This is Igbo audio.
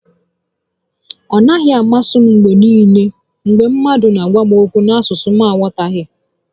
Ọ naghị amasị m mgbe niile mgbe mmadụ n'agwa m okwu n'asụsụ m na aghọtaghị